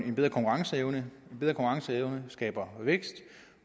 en bedre konkurrenceevne skaber vækst